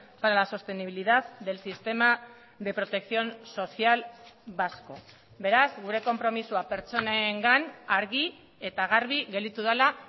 para la sostenibilidad del sistema de protección social vasco beraz gure konpromisoa pertsonengan argi eta garbi gelditu dela